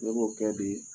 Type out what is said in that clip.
Ne b'o kɛ bi